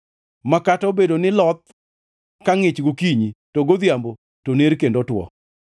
ma kata obedo ni loth ka ngʼich gokinyi to godhiambo to ner kendo two.